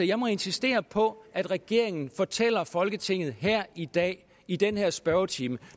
jeg må insistere på at regeringen fortæller folketinget her i dag i den her spørgetime